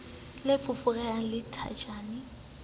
le foforehang la thajana e